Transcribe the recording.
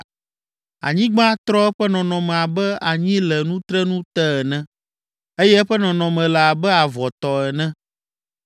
Anyigba trɔ eƒe nɔnɔme abe anyi le nutrenu te ene, eye eƒe nɔnɔme le abe avɔ tɔ ene.